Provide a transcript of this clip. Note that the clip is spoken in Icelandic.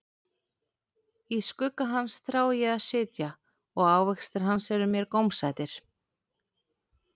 Í skugga hans þrái ég að sitja, og ávextir hans eru mér gómsætir.